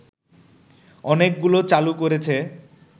অনেকগুলো চালু করেছে